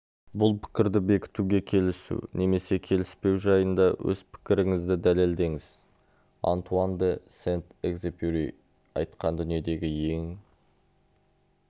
бұл пікірді бекітуге келісу немесе келіспеу жайында өз пікіріңізді дәлелдеңіз антуан де сент-экзепюри айтқан дүниедегі ең